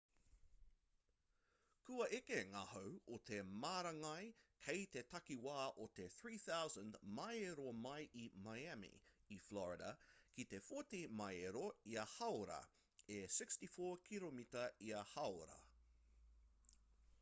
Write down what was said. kua eke ngā hau o te marangai kei te takiwā o te 3,000 māero mai i miami i florida ki te 40 māero ia hāora e 64 kiromita ia hāora